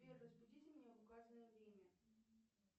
сбер разбудите меня в указанное время